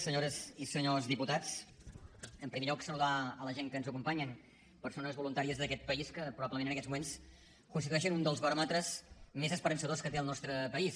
senyores i senyors diputats en primer lloc saludar la gent que ens acompanya persones voluntàries d’aquest país que probablement en aquests moments constitueixen un dels baròmetres més esperançadors que té el nostre país